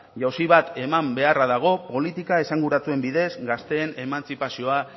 jauzi bat eman beharra dago politika esanguratsuen bidez gazteen emantzipazioa